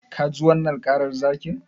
Ka ji wannan karar zakin?